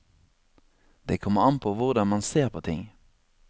Det kommer an på hvordan man ser på ting.